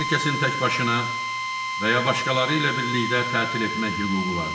Hər kəsin təkbaşına və ya başqaları ilə birlikdə tətil etmək hüququ vardır.